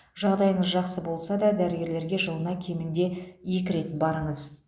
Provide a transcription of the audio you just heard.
жағдайыңыз жақсы болса да дәрігерлерге жылына кемінде екі рет барыңыз